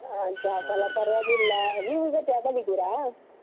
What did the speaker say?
ಆ job ಎಲ್ಲ ಪರವಾಗಿಲ್ಲ ನೀವು ಈಗ job ಅಲ್ಲಿ ಇದ್ದೀರಾ?